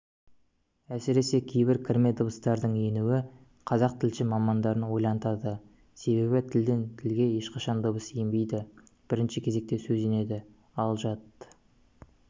әсіресе кейбір кірме дыбыстардың енуі қазақ тілші мамандарын ойлантады себебі тілден тілге ешқашан дыбыс енбейді бірінші кезекте сөз енеді ал жат